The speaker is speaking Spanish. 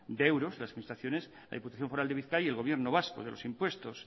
de euros las administraciones la diputación foral de bizkaia y el gobierno vasco de los impuestos